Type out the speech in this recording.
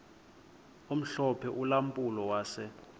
omhlophe ulampulo wase